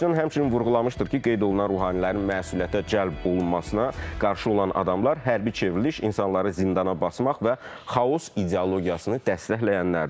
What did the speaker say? Paşinyan həmçinin vurğulamışdır ki, qeyd olunan ruhanilərin məsuliyyətə cəlb olunmasına qarşı olan adamlar hərbi çevriliş, insanları zindana basmaq və xaos ideologiyasını dəstəkləyənlərdir.